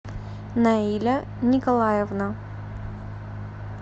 наиля николаевна